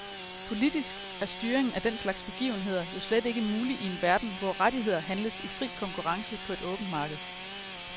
Politisk er styringen af den slags begivenheder jo slet ikke mulig i en verden, hvor rettigheder handles i fri konkurrence på et åbent marked.